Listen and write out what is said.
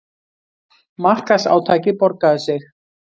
Markaðsátakið borgaði sig